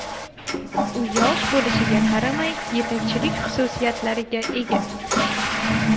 U yosh bo‘lishiga qaramay yetakchilik xususiyatlariga ega”.